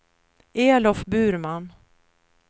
Elof Burman